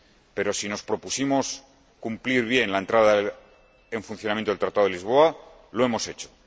Pero, si nos propusimos cumplir bien la entrada en funcionamiento del Tratado de Lisboa, lo hemos hecho.